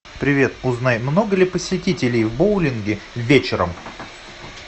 привет узнай много ли посетителей в боулинге вечером